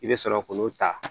I bɛ sɔrɔ k'olu ta